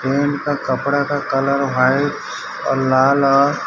इनका कपड़ा का कलर व्हाइट और लाल अ--